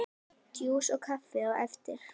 Djús og kaffi á eftir.